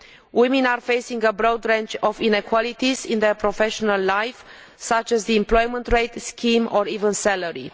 Women are facing a broad range of inequalities in their professional life, such as the employment rate scheme or even salary.